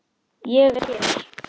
ÉG ER HÉR!